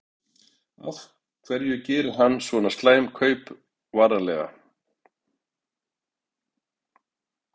Af hverju gerir hann svona slæm kaup varnarlega?